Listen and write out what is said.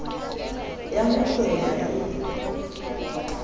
ya ho hlwela le e